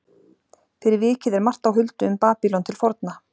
Fyrir vikið er margt á huldu um Babýlon til forna.